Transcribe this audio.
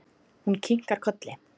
Hún kinkar kolli.